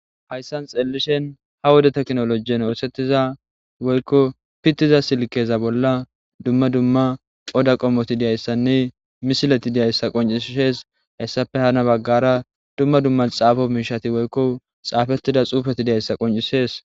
hayssan xeellishen ha woda teknolojien oosettiza woykko pittiza silkeza bolla dumma dumma qoda qommoti diyayssanne misileti diyayssa qoncishees hayssafe hana baggara dumma dumma xaafo miishati woykko xaafettida xuufeti diyayssa qoncisees